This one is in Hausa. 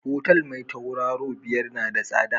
Hotel me tauraro biyar na da tsada